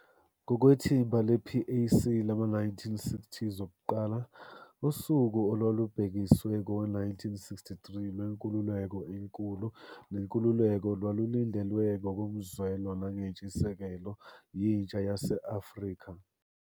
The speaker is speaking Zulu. Ngokwethimba le-PAC lama-1960s okuqala, usuku olwalubhekiswe kowe-1963 lwenkululeko enkulu nenkululeko lwalulindelwe ngokomzwelo nangenshisekelo yintsha yase-Afrika.